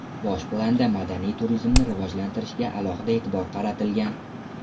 Bosh planda madaniy turizmni rivojlantirishga alohida e’tibor qaratilgan.